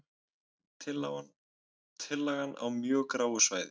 Tillagan á mjög gráu svæði